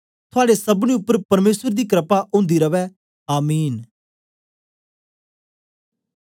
थुआड़े सबनी उपर परमेसर दी क्रपा ओंदी रवै आमीन